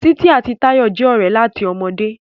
Titi àti Tayo jé òré láti ọmọdé.